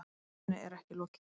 Myndinni er ekki lokið.